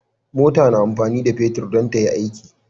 mota na amfani da fetir dan tayi aiki